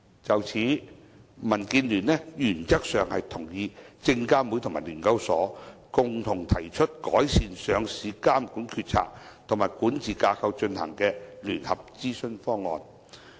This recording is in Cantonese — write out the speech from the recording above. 就此，民建聯原則上同意證監會和聯交所共同提出改善上市監管決策和管治架構進行的聯合諮詢方案。